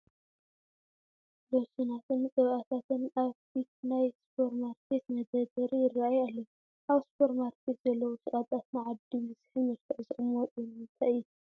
ሎሽናትን ቅብኣታትን ኣብ ፊት ናይ ሱፐር ማርኬት መደርደሪ ይርአዩ ኣለዉ፡፡ ኣብ ሱፐር ማርኬት ዘለዉ ሸቐጣት ንዓዳጊ ብዝስሕብ መልክዕ ዝቕመጡ ንምንታይ እዩ?